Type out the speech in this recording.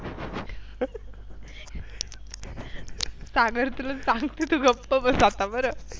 सागर तुला सांगते तू गप्प बस आता बरं.